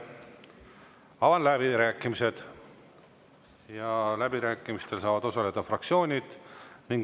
Avan läbirääkimised, läbirääkimistel saavad osaleda fraktsioonid.